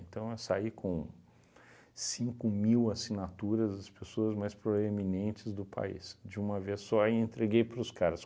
eu saí com cinco mil assinaturas das pessoas mais proeminentes do país, de uma vez só, e entreguei para os caras.